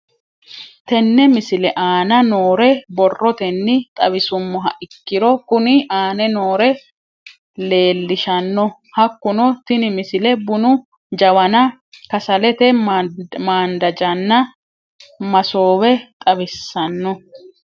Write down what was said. Tenne misile aana noore borrotenni xawisummoha ikirro kunni aane noore leelishano. Hakunno tinni misile bunu jawanna kasalete maandajanna maasoowe xawissanno.